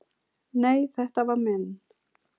"""Nei, þetta var minn"""